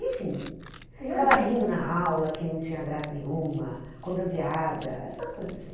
Enfim, ficava rindo na aula que não tinha graça nenhuma, contando piada, essas coisas assim.